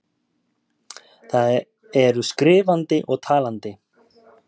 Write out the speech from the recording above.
Það eru skrif-andi og tal-andi.